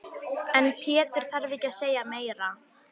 En Pétur þarf ekki að segja meira.